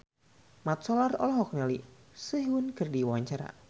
Mat Solar olohok ningali Sehun keur diwawancara